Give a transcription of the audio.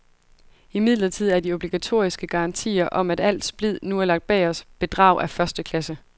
Imidlertid er de obligatoriske garantier, om at al splid nu er lagt bag os, bedrag af første klasse.